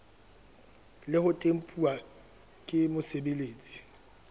le ho tempuwa ke mosebeletsi